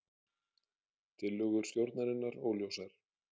Tillögur stjórnarinnar óljósar